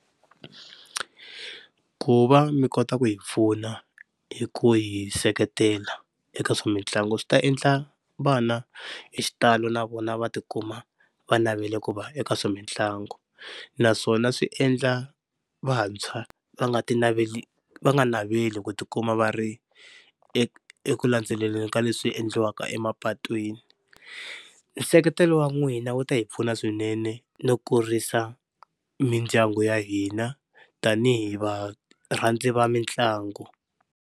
Ku va mi kota ku hi pfuna hi ku hi seketela eka swa mitlangu swi ta endla vana hi xitalo na vona va tikuma va navela ku va eka swa mitlangu, naswona swi endla vantshwa va nga tinaveli va nga naveli ku tikuma va ri eku eku landzelelini ka leswi endliwaka emapatwini. Nseketelo wa n'wina wu ta hi pfuna swinene no kurisa mindyangu ya hina tani hi va rhandzi va mitlangu.